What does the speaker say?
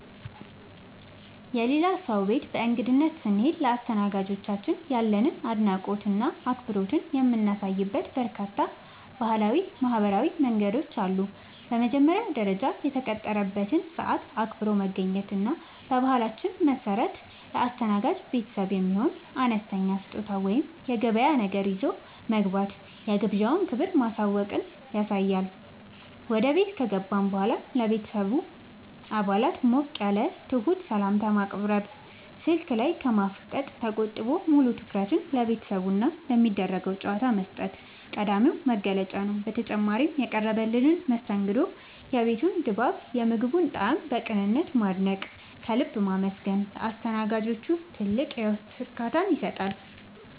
የሌላ ሰው ቤት በእንግድነት ስንሄድ ለአስተናጋጆቻችን ያለንን አድናቆትና አክብሮት የምናሳይባቸው በርካታ ባህላዊና ማኅበራዊ መንገዶች አሉ። በመጀመሪያ ደረጃ፣ የተቀጠረበትን ሰዓት አክብሮ መገኘት እና በባህላችን መሠረት ለአስተናጋጅ ቤተሰቡ የሚሆን አነስተኛ ስጦታ ወይም የገበያ ነገር ይዞ መግባት የግብዣውን ክብር ማወቅን ያሳያል። ወደ ቤት ከገባን በኋላም ለሁሉም የቤተሰብ አባላት ሞቅ ያለና ትሑት ሰላምታ ማቅረብ፣ ስልክ ላይ ከማፍጠጥ ተቆጥቦ ሙሉ ትኩረትን ለቤተሰቡና ለሚደረገው ጨዋታ መስጠት ቀዳሚው መገለጫ ነው። በተጨማሪም፣ የቀረበልንን መስተንግዶ፣ የቤቱን ድባብና የምግቡን ጣዕም በቅንነት ማድነቅና ከልብ ማመስገን ለአስተናጋጆቹ ትልቅ የውስጥ እርካታን ይሰጣል።